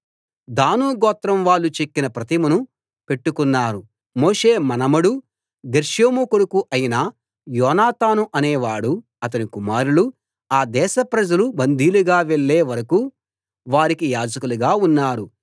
దాను గోత్రం వాళ్ళు చెక్కిన ప్రతిమను పెట్టుకున్నారు మోషే మనుమడూ గెర్షోము కొడుకు అయిన యోనాతాను అనే వాడూ అతని కుమారులూ ఆ దేశ ప్రజలు బందీలుగా వెళ్ళే వరకూ వారికి యాజకులుగా ఉన్నారు